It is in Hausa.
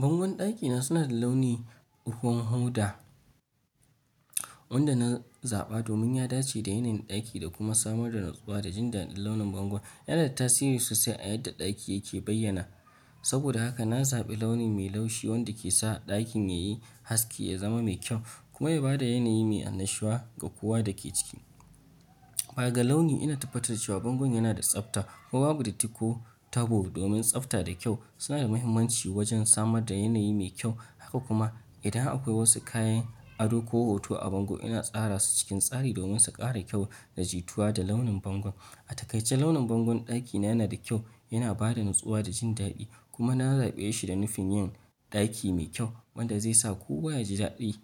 Bangon ɗakina suna da launi uhum hoda, wanda na zaɓa domin ya dace da yanayin ɗaki da kuma samar da natsuwa da jindaɗin launin bangon. Yanada tasiri sosai a yadda ɗaki yake bayyana. Saboda haka na zaɓi launi mai laushi wanda kesa ɗakin yayi haske ya zama mai kyau kuma yabada yanayi mai annashuwa ga kowa dake ciki. Baga launi ina tabbatar da cewa bangon yana da tsabta. Kuma babu datti ko tabo domin tsabta da kyau suna da muhimmanci wajen samar da yanayi mai kyau. Haka kuma idan akwai wasu kayan ado ko hoto a bango ina tsara su cikin tsari domin su ƙara kyau da jituwa da launin bangon. A takai ce launin bangon ɗakina yana da kyau yana bada natsuwa da jindaɗi kuma na zaɓe shi da nufin yin ɗaki mai kyau wanda zai sa kowa yaji daɗin